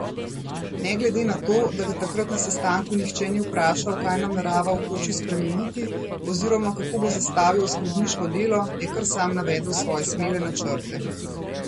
Ne glede na to, da ga takrat na sestanku nihče ni vprašal, kaj namerava v koči spremeniti oziroma kako bo zastavil oskrbniško delo, je kar sam navedel svoje smele načrte.